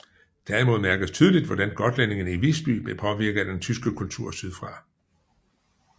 Derimod mærkedes tydeligt hvordan gotlændingerne i Visby blev påvirket af den tyske kultur sydfra